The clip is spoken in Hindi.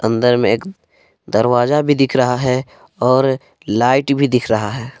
अंदर में एक दरवाजा भी दिख रहा है और लाइट भी दिख रहा है।